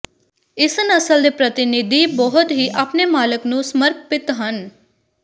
ਇਸ ਨਸਲ ਦੇ ਪ੍ਰਤੀਨਿਧੀ ਬਹੁਤ ਹੀ ਆਪਣੇ ਮਾਲਕ ਨੂੰ ਸਮਰਪਿਤ ਹਨ